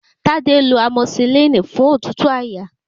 Tádé lọ amosilínì fún òtútù àyà.